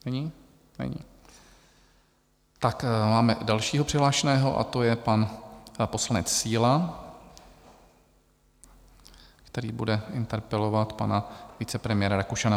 Tak máme dalšího přihlášeného, a to je pan poslanec Síla, který bude interpelovat pana vicepremiéra Rakušana.